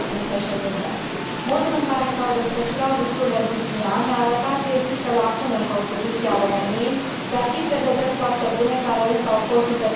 Modul în care s au desfășurat lucrurile în ultimii ani a arătat că există lacune în Constituția României, dar și prevederi foarte bune, care însă au fost interpretate diferit.